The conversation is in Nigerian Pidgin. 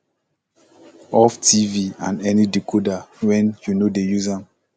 off tv and any decoder wen yu no dey use am